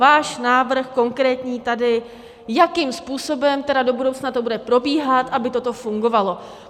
Váš návrh konkrétní tady, jakým způsobem tedy do budoucna to bude probíhat, aby toto fungovalo.